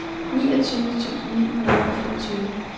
niogtyve tusind ni hundrede og femogtyve